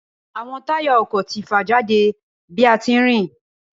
Awọn taya ọkọ ti fa jade bi a ti nrìn.